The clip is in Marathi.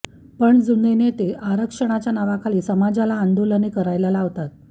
पण जुने नेते आरक्षणाच्या नावाखाली समाजाला आंदोलने करायला लावतात